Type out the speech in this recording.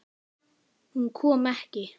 Hún kom ekki.